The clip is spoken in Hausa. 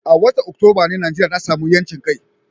A watan Oktoba ne Najeriya ta sami ƴancin kai.